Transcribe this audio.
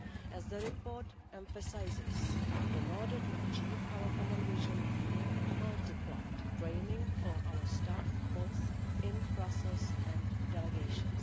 As the report emphasises, in order to achieve our common vision, we have multiplied training for our staff both in Brussels and delegations.